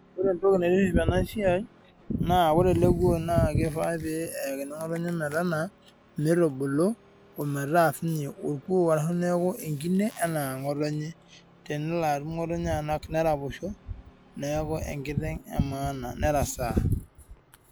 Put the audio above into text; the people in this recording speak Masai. Ore entoki naitiship ena siai naa ore ele kuo naa kifaa pee eyakini ngotonye mee taanaa mitubulu ometaa sininye orkuo ashu ekine enaa ngotonye tenelo atum ngotonye anak neraposho neaku ekiteng emaana nerasaa.